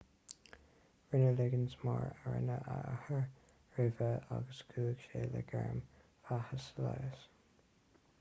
rinne liggins mar a rinne a athair roimhe agus chuaigh sé le gairm bheatha sa leigheas